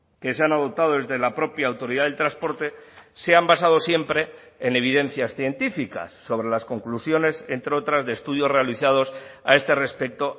que se han adoptado desde la propia autoridad del transporte se han basado siempre en evidencias científicas sobre las conclusiones entre otras de estudios realizados a este respecto